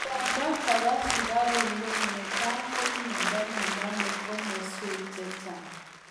Miondoo kopaa sukaruk ngweny netai ko miondoo nenomee komaswek chechang.